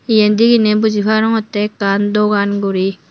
iyen deginey buji parongotte ekkan dogan guri.